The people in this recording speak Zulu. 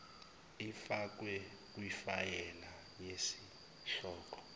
ifakwe kifayela yesihloko